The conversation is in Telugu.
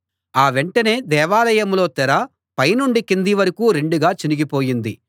ఆ వెంటనే దేవాలయంలో తెర పైనుండి కింది వరకూ రెండుగా చినిగిపోయింది